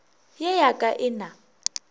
ye ya ka e na